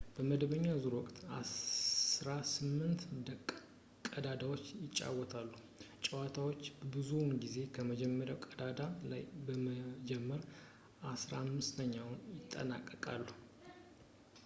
በመደበኛ ዙር ወቅት አስራ ስምንት ቀዳዳዎች ይጫወታሉ ፣ ተጫዋቾች ብዙውን ጊዜ በመጀመርያው ቀዳዳ ላይ በመጀመር በአሥራ ስምንተኛው ይጠናቀቃሉ